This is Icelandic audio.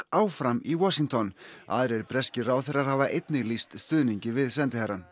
áfram í Washington aðrir breskir ráðherrar hafa einnig lýst stuðningi við sendiherrann